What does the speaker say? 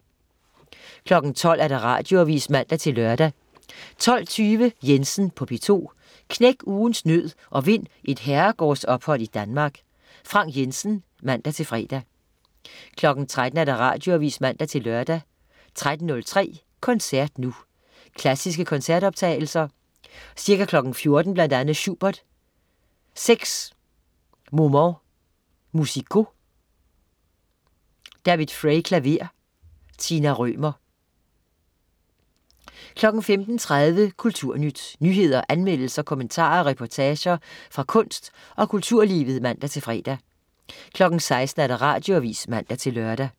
12.00 Radioavis (man-lør) 12.20 Jensen på P2. Knæk ugens nød og vind et herregårdsophold i Danmark. Frank Jensen (man-fre) 13.00 Radioavis (man-lør) 13.03 Koncert nu. Klassiske koncertoptagelser. Ca. 14.00 Bl.a. Schubert: Seks Moments Musicaux. David Fray, klaver. Tina Rømer 15.30 Kulturnyt. Nyheder, anmeldelser, kommentarer og reportager fra kunst, og kulturlivet (man-fre) 16.00 Radioavis (man-lør)